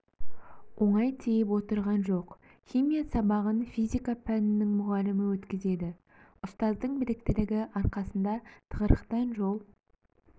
оңай тиіп отырған жоқ химия сабағын физика пәнінің мұғалімі өткізеді ұстаздың біліктілігі арқасында тығырықтан жол